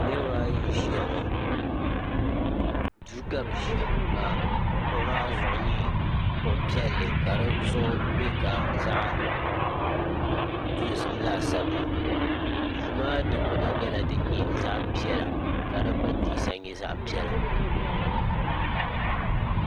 niraba ayi n ʒiya ŋɔ duu ka bi ʒiya ka bi kuɣu maa zuɣu nyɛ kuɣu piɛlli ka di zuɣu bɛ ka zaɣ dozim laasabu maa duu maa dikpuna nyɛla din nyɛ zaɣ piɛla ka di pateesa nyɛ zaɣ piɛla